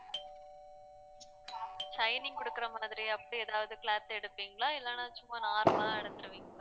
shining கொடுக்கிற மாதிரி அப்படி ஏதாவது cloth எடுப்பீங்களா இல்லைன்னா சும்மா normal ஆ எடுத்திருவீங்களா